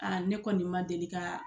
ne kɔni ma deli ka